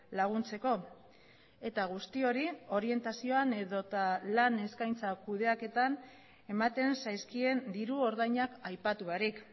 laguntzeko eta guzti hori orientazioan edota lan eskaintza kudeaketan ematen zaizkien diru ordainak aipatu barik